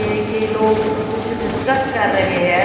एक ये लोक कुछ डिस्कस कर रहे है।